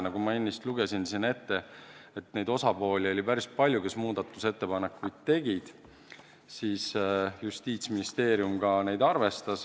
Nagu ma ennist ette lugesin, osapooli, kes muudatusettepanekuid tegid, oli päris palju, ja Justiitsministeerium neid ka arvestas.